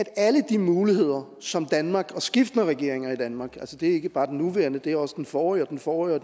alle de muligheder som danmark og skiftende regeringer i danmark det er ikke bare den nuværende det er også den forrige den forrige og